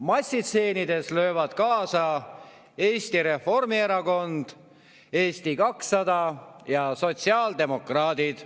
Massistseenides löövad kaasa Eesti Reformierakond, Eesti 200 ja sotsiaaldemokraadid.